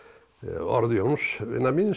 orð Jóns vinar míns